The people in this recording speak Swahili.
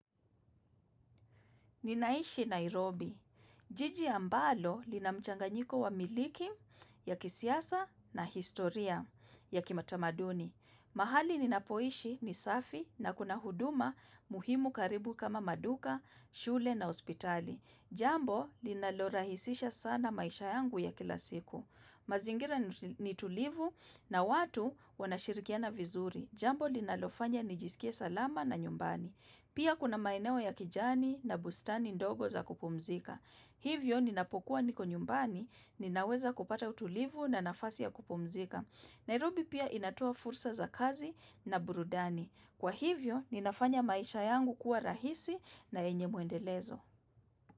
Ninaishi Nairobi. Jiji ambalo lina mchanganyiko wa milki ya kisiasa na historia ya kimatamaduni. Mahali ninapoishi ni safi na kuna huduma muhimu karibu kama maduka, shule na hospitali. Jambo linalorahisisha sana maisha yangu ya kila siku. Mazingira ni tulivu na watu wanashirikiana vizuri Jambo linalofanya nijisikie salama na nyumbani Pia kuna maeneo ya kijani na bustani ndogo za kupumzika Hivyo ninapokuwa niko nyumbani ninaweza kupata utulivu na nafasi ya kupumzika Nairobi pia inatoa fursa za kazi na burudani Kwa hivyo ninafanya maisha yangu kuwa rahisi na yenye mwendelezo.